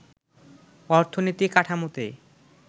অর্থনীতি কাঠামোতে